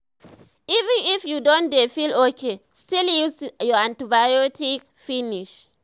even if you don dey feel okay still use your antibiotics finish